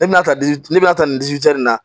Ne bɛna taa di ne bɛna taa nin nin na